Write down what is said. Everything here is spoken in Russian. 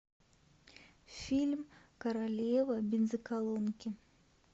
фильм королева бензоколонки